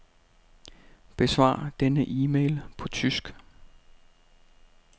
Besvar denne e-mail på tysk.